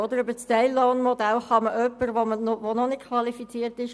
Über das Teillohnmodell kann man jemanden anstellen, der noch nicht qualifiziert ist.